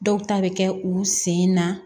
Dɔw ta bɛ kɛ u sen na